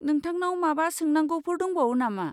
नोंथांनाव माबा सोंनांगौफोर दंबावो नामा?